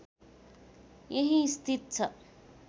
यहिँ स्थित छ